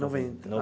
Noventa, não.